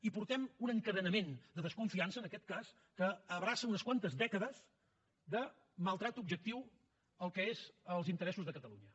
i portem un encadenament de desconfiança en aquest cas que abraça unes quantes dècades de maltractament objectiu al que són els interessos de catalunya